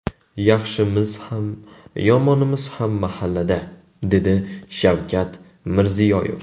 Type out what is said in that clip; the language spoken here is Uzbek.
Yaxshimiz ham, yomonimiz ham mahallada”, – dedi Shavkat Mirziyoyev.